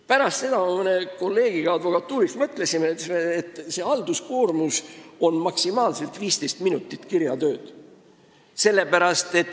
Pärast seda avaldust me mõtlesime koos paari kolleegiga advokatuurist, et see halduskoormus tähendab maksimaalselt 15 minutit kirjatööd.